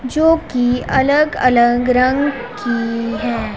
जो की अलग अलग रंग की है।